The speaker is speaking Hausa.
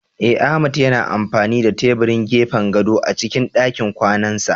Eh Ahmad yana amfani da tebirin gefen gadon a cikin dakin kwanansa